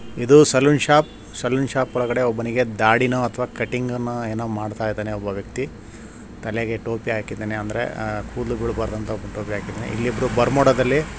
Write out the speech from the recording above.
ಇದು saloon shop saloon shop ಒಳಗಡೆ ಒಬ್ಬನಿಗೆ ದಾಡಿ ನೋ ಅಥವಾ ಕಟಿಂಗ್ ಅನ್ನೋ ಏನೋ ಮಾಡ್ತಾಇದ್ದಾನೆ ಒಬ್ಬ ವ್ಯಕ್ತಿ ತಲೆಗೆ ಟೋಪಿ ಹಾಕಿದಾನೆ ಅಂದ್ರೆ ಕೂದಲು ಬೀಳಬಾರ್ದು ಅಂತ ಟೋಪಿ ಹಾಕಿದಾನೆ ಇಲ್ಲಿ ಇಬ್ಬರು ಬರ್ಮೋಡಾ ದಲ್ಲಿ --